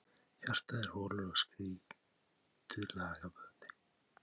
Hjartað er holur og strýtulagaður vöðvi.